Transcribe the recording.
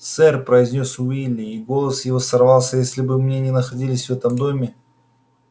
сэр произнёс уилли и голос его сорвался если бы мы не находились в этом доме